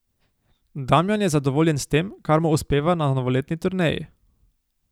Damjan je zadovoljen s tem, kar mu uspeva na novoletni turneji.